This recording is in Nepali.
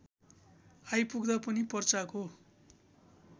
आइपुग्दा पनि पर्चाको